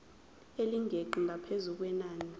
elingeqi ngaphezu kwenani